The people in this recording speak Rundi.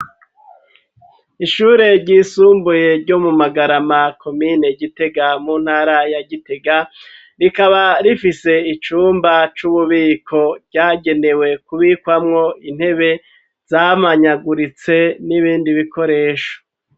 Ishure ryisumbuye ryo mu magarama ,komine gitega ,mu ntara ya gitega ,rikaba rifise icumba c'ububiko, ryagenewe kubikwamwo intebe ,zamanyaguritse n'ibindi bikoresho.